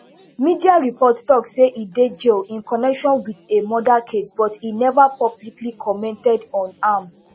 media reports tok say e dey jail in connection wit a murder case but e neva publicly commented on am